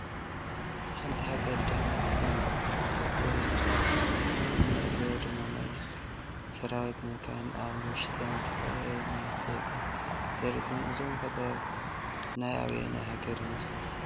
ሓንቲ ሃገር ድሕንነታ ንምሕላው ወታደር የዲሊያ ከም እንዕዘቦ ድማ ናይ ስራዊት መካይን አብ ውሽጠን ዝተፈላለዩ ናውቲ ሒዘን ዘሪኢ ኮይኑ እዞም ወታደር ናይ አበይ ሃገር ይመስለኩም?